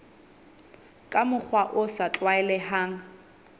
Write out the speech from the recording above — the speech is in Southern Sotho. ka mokgwa o sa tlwaelehang